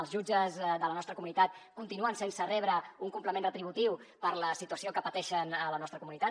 els jutges de la nostra comunitat continuen sense rebre un complement retributiu per la situació que pateixen a la nostra comunitat